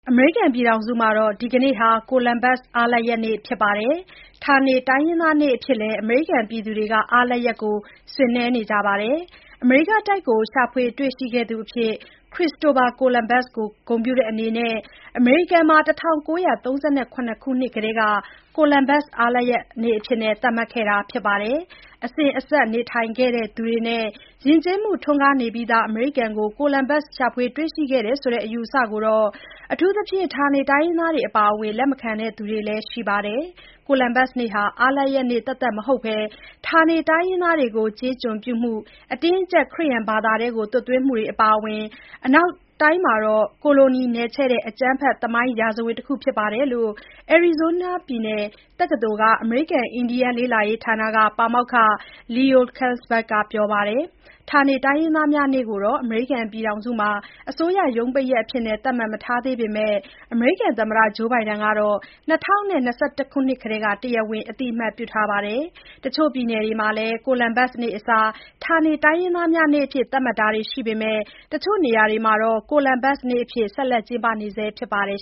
အမေရိကန် ပြည်ထောင်စုမှာ ဒီကနေ့ဟာ ကိုလံဘတ်စ် အားလပ်ရက်နေ့ ဖြစ်သလို၊ ဌာနေတိုင်းရင်းသားနေ့ အဖြစ်နဲ့လည်း အားလပ်ရက်ကို ဆင်နွှဲကြပါတယ်။ အမေရိကတိုက်ကို ရှာဖွေတွေ့ရှိခဲ့သူအဖြစ် ခရစ္စတိုဖာ ကိုလံဘတ်စ် ကိုဂုဏ်ပြုတဲ့အနေနဲ့ အမေရိကန်မှာ ၁၉၃၇ ခုနှစ်ကတည်းက ကိုလံဘတ်စ် အားလပ်ရက်နေ့အဖြစ် သတ်မှတ်ခဲ့တာပါ။ အစဉ်အဆက် နေထိုင်သူတွေနဲ့ ယဉ်ကျေးမှု ထွန်းကားနေပြီးသား အမေရိကန်ကို ကိုလံဘတ်စ် ရှာဖွေတွေ့ရှိခဲ့တယ်ဆိုတဲ့ အယူအဆကိုတော့ အထူးသဖြင့် ဌာနေတိုင်းရင်းသားတွေ အပါအဝင် လက်မခံသူတွေ ရှိပါတယ်။ ကိုလံဘတ်စ်နေ့ဟာ အားလပ်ရက်နေ့တင်မဟုတ်ဘဲ ဌာနေတိုင်းရင်းသားတွေကို ကျေးကျွန်ပြုမှု၊ အတင်းအကျပ် ခရစ်ယာန်ဘာသာသွတ်သွင်းမှုတွေ အပါအဝင် အနောက်တိုင်းမှာ ကိုလိုနီနယ်ချဲ့တဲ့ အကြမ်းဖက် သမိုင်းရာဇဝင်တခု ဖြစ်တယ်လို့ အရီဇိုးနားပြည်နယ် တက္ကသိုလ်က အမေရိကန်အင်ဒီယန်း လေ့လာရေးဌာနက ပါမောက္ခ Leo Killsback ကပြောပါတယ်။ ဌာနေတိုင်းရင်းသားများနေ့ကိုတော့ အမေရိကန်အစိုးရ ရုံးပိတ်ရက်အဖြစ် မသတ်မှတ်သေးပေမဲ့ သမ္မတ Joe Biden ကတော့ ၂၀၂၁ မှာ တရားဝင်အသိအမှတ်ပြုထားပါတယ်။ တချို့ပြည်နယ်တွေမှာလည်း ကိုလံဘတ်စ်နေ့အစား ဌာနေတိုင်းရင်းသားများနေ့ အဖြစ် သတ်မှတ်ကျင်းပကြပေမဲ့ တချို့နေရာတွေမှာတော့ ကိုလံဘတ်စ်နေ့အဖြစ်ပဲ ဆက်ပြီး ကျင်းပနေဆဲ ဖြစ်ပါတယ်